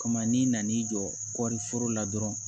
Kama n'i nan'i jɔ kɔɔri foro la dɔrɔn